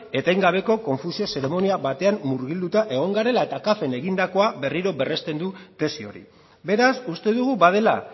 etengabeko konfusio zeremonia batean murgilduta egon garela eta capven egindakoa berriro berrezten du tesi hori beraz uste dugu badela